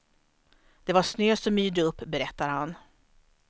Det var snö som yrde upp, berättar han.